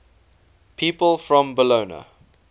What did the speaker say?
people from bologna